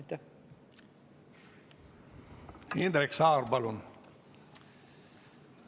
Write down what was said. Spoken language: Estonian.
Indrek Saar, palun!